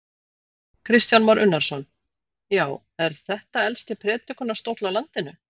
Kristján Már Unnarsson: Já, er þetta elsti predikunarstóll á landinu?